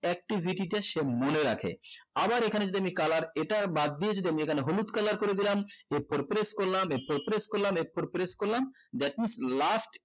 activity টা সে মনে রাখে আবার এখানে যদি আমি colour এটার বাদ দিয়ে যদি আমি এখানে হলুদ colour করে দিলাম f four press করলাম f four press করলাম f four press করলাম that means last